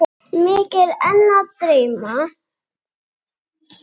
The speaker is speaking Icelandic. Mig er enn að dreyma.